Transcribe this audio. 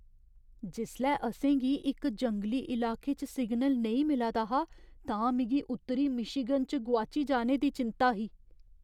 जिसलै असें गी इक जंगली इलाके च सिग्नल नेईं मिला दा हा तां मिगी उत्तरी मिशीगन च गोआची जाने दी चिंता ही।